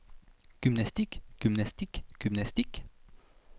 gymnastik gymnastik gymnastik